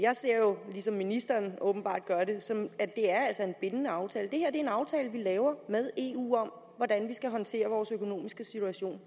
jeg ser jo ligesom ministeren åbenbart gør det sådan på at det altså er en bindende aftale det her er en aftale vi laver med eu om hvordan vi skal håndtere vores økonomiske situation